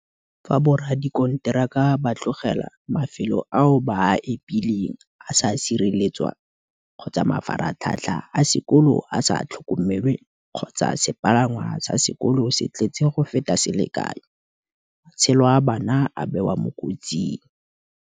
Fa boradikonteraka ba tlogela mafelo ao ba a epileng a sa sireletswa kgotsa mafaratlhatlha a sekolo a sa tlhokomelwe kgotsa sepalangwa sa sekolo se tletse go feta selekanyo, matshelo a bana a bewa mo kotsing.